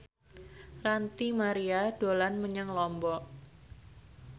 Ranty Maria dolan menyang Lombok